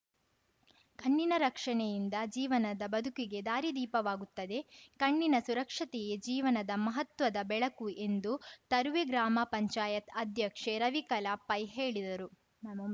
ಕಣ್ಣಿನ ರಕ್ಷಣೆಯಿಂದ ಜೀವನದ ಬದುಕಿಗೆ ದಾರಿ ದೀಪವಾಗುತ್ತದೆ ಕಣ್ಣಿನ ಸುರಕ್ಷತೆಯೇ ಜೀವನದ ಮಹತ್ವದ ಬೆಳಕು ಎಂದು ತರುವೆ ಗ್ರಾಮ ಪಂಚಾಯತ್ ಅಧ್ಯಕ್ಷೆ ರವಿಕಲಾ ಪೈ ಹೇಳಿದರು